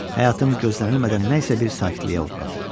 Həyatım gözlənilmədən nə isə bir sakitliyə uğradı.